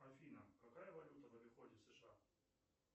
афина какая валюта в обиходе сша